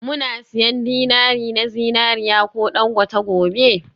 Muna siyan dinari na zinariya ko dangote gobe?